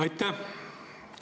Aitäh!